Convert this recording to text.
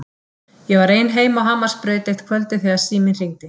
Ég var ein heima á Hamarsbraut eitt kvöldið þegar síminn hringdi.